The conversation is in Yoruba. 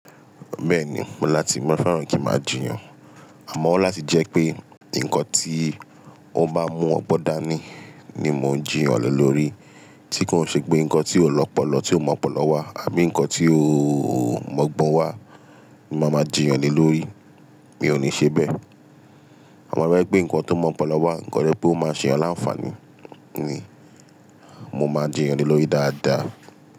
Bẹ́ẹ̀ni, mo láti, mo fẹ́ràn kí máa jiyàn. Àmọ́ láti jẹ́ pé nǹkan tí ó bá mú ọgbọ́n dání ni mò ń jiyàn lè lórí. Tí kò ṣe pé nǹkan tí ó lọ́pọ̀lọ̀ tí ó mọ́pọ̀lọ́ wá àbí nǹkan tí ó mọ̀ọ́gbọ́n wá ni màá máa jiyàn ni lórí. Mi ò ní ṣe bẹ́ẹ̀. Àmọ́ rárá pé nǹkan tó mọ́pọ̀lọ́ wá, nǹkan rẹ̀ pé ó máa ṣe yàn láfani ni, mo máa jiyàn lè lórí dáadáa.